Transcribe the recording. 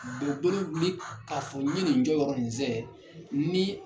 U be bolo wili k'a fɔ ɲe nin jɔyɔrɔ nin zɛɛ nii